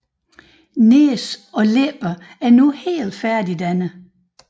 Næse og læber er nu helt færdigdannet